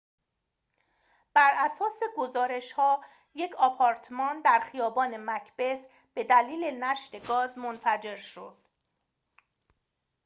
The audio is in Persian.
براساس گزارش‌ها یک آپارتمان در خیابان مکبث به دلیل نشت گاز منفجر شد